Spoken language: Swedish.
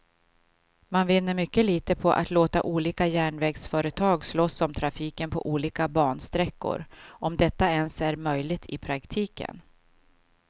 Man vinner mycket litet på att låta olika järnvägsföretag slåss om trafiken på olika bansträckor, om detta ens är möjligt i praktiken.